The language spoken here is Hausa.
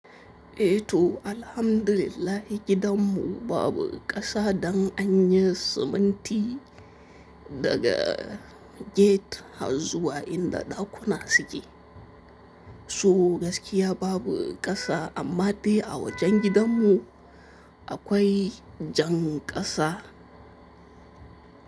Eh to alhamdulillah gidanmu babu ƙasa, dan anyi siminti daga gate har zuwa inda ɗakuna suke. So gaskiya babu ƙasa amma dai a wajen gidanmu akwai jan ƙasa.